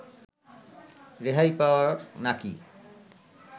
রেহাই পাওয়ার নাকি